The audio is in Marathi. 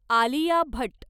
आलिया भट्ट